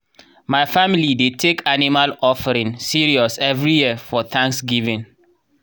my family dey take animal offering serious every year for thanksgiving.